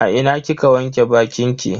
A ina kika wanke bakinki?